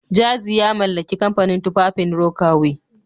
Jazzy ya mallaki kamfanin tufafin Rocawear